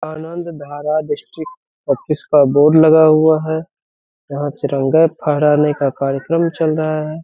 आनंद Dhara district का board लगा हुआ है। यहाँ तिरंगा फरहाने का कार्यक्रम चल रहा है।